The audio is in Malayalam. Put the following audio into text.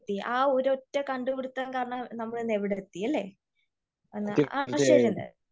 എഅ ഒരു ഒറ്റ കണ്ടുപിടിത്തം കാരണം നമ്മൾ ഇന്ന് എവിടെ എത്തി അല്ലേ? ആശ്ചര്യം തന്നെ.